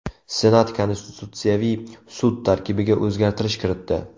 Senat Konstitutsiyaviy sud tarkibiga o‘zgartish kiritdi.